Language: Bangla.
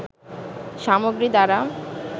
সামগ্রী দ্বারা